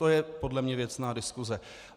To je podle mě věcná diskuse.